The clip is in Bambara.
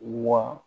Wa